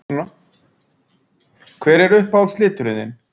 Hver er uppáhalds liturinn þinn?